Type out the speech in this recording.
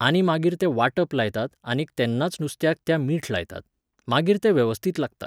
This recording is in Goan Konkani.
आनी मागीर तें वाटप लायतात आनीक तेन्नाच नुस्त्याक त्या मीठ लायतात. मागीर तें वेवस्थीत लागता